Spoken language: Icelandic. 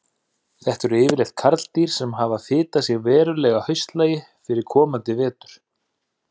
Þetta eru yfirleitt karldýr sem hafa fitað sig verulega að haustlagi fyrir komandi vetur.